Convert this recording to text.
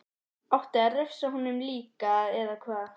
Átti að refsa honum líka, eða hvað?